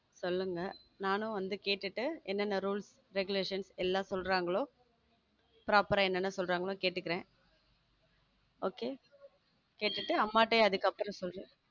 சொல்லுங்க நானும் வந்து கேட்டுட்டு என்னென்ன rules regulations எல்லாம் சொல்றாங்களோ proper ஆ என்னென்ன சொல்றாங்களோ கேட்டுக்குறேன் okay கேட்டுட்டு அம்மா கிட்ட அதுக்கு அப்புறம் சொல்ற